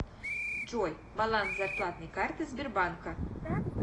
джой баланс зарплатной карты сбербанка